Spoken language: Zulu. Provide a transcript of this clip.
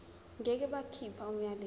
ngeke bakhipha umyalelo